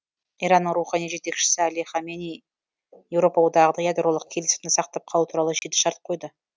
иранның рухани жетекшісі әли хаменеи еуропа одағына ядролық келісімді сақтап қалу туралы жеті шарт қойды